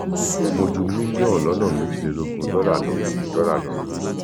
mo ju mílíọnù lọnà méjìlélógún dọlà lọ dọlà lọ